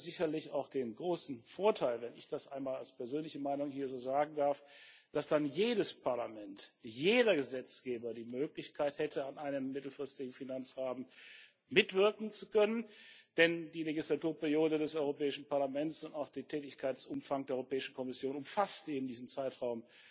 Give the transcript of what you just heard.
Es hätte sicherlich auch den großen Vorteil wenn ich das einmal als persönliche Meinung hier so sagen darf dass dann jedes Parlament, jeder Gesetzgeber, die Möglichkeit hätte, an einem mittelfristigen Finanzrahmen mitzuwirken, denn die Legislaturperiode des Europäischen Parlaments und auch der Tätigkeitsumfang der Europäischen Kommission umfasst eben diesen Zeitraum